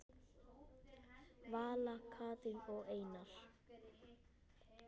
Vala, Katrín og Einar.